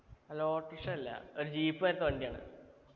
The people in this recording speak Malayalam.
അല്ല auto rickshaw അല്ല ഒരു jeep പോലത്തെ വണ്ടിയാണ്